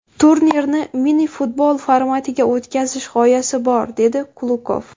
Turnirni mini-futbol formatiga o‘tkazish g‘oyasi bor”, dedi Kulukov.